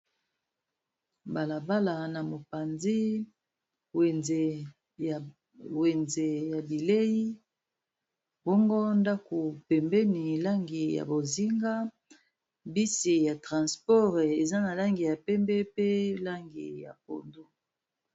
Bala bala na mopanzi wenze ya bileyi bongo ndako pembeni langi ya bozinga bus ya transport eza na langi ya pembe pe langi ya pondu.